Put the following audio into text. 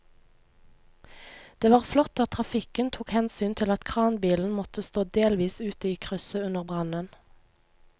Det var flott at trafikken tok hensyn til at kranbilen måtte stå delvis ute i krysset under brannen.